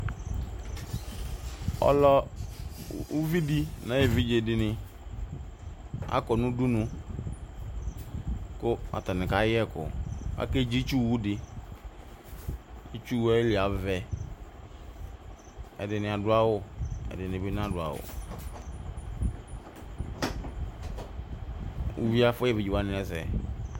Ɔlɔ uvidi nayu evidze dini akɔ nu udunu ku atani kayɛ ɛkʊ akedzi itsuwʊdi itsuwuɛli avɛ ɛdini adu awu ɛdini binadu awu uvie afu evidze wani ɛsɛ